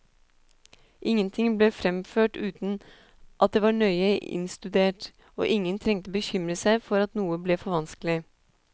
Ingenting ble fremført uten at det var nøye innstudert, og ingen trengte bekymre seg for at noe ble for vanskelig.